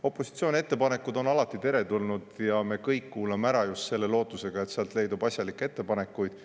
Opositsiooni ettepanekud on alati teretulnud ja me kuulame ära kõik just selle lootusega, et seal leidub asjalikke ettepanekuid.